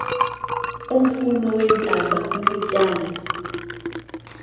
umfuno weentaba bubutyani